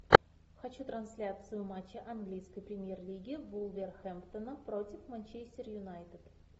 хочу трансляцию матча английской премьер лиги вулверхэмптона против манчестер юнайтед